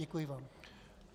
Děkuji vám.